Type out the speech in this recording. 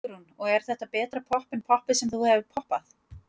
Hugrún: Og er þetta betra popp en poppið sem þú hefur poppað?